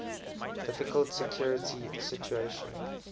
difficult security situation